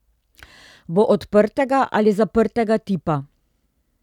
Bo odprtega ali zaprtega tipa?